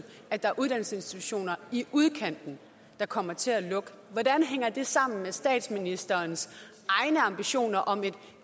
at der er uddannelsesinstitutioner i udkanten der kommer til at lukke hvordan hænger det sammen med statsministerens egne ambitioner om et